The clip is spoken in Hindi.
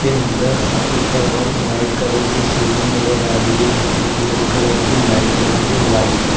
के अंदर ऊपर वाल व्हाइट कलर की सीलिंग नजर आ रही है जिसमें गोल कलर की लाइट लगी है व्हाइट ।